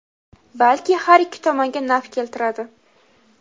balki har ikki tomonga naf keltiradi.